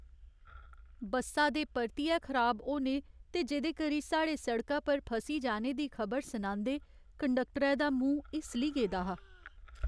बस्सा दे परतियै खराब होने ते जेह्दे करी साढ़े सड़का पर फसी जाने दी खबर सनांदे कंडक्टरै दा मूंह् हिस्सली गेदा हा।